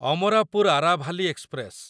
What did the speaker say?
Amarapur Aravali express